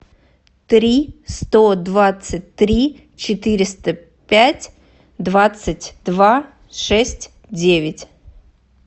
три сто двадцать три четыреста пять двадцать два шесть девять